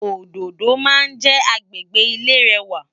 Ódódó má njè ágbégbé ilé rèwá